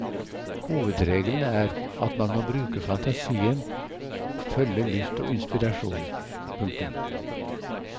Hovedregelen er at man må bruke fantasien og følge lyst og inspirasjon. punktum